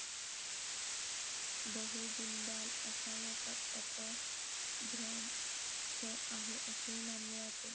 बहू जुंदाल असा याचा अपभ्रंश आहे असेही मानले जाते